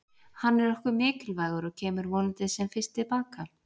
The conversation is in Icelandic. Hann er okkur mikilvægur og kemur vonandi sem fyrst til baka.